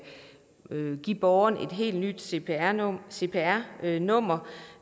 give borgere et helt nyt cpr nummer cpr nummer